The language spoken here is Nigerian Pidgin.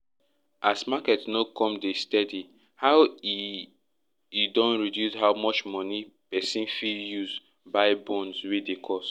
as market no come de steady now e e don reduce how much money person fit use buy bonds wey dey cost